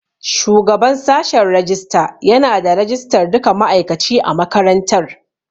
Shugaban sashen rajista yana da rajistar duka ma'aikaci a makarantar.